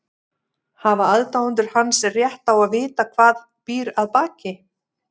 Hafa aðdáendur hans rétt á að vita hvað býr að baki?